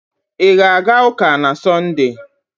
Ị ga-aga ụka na Sọnde?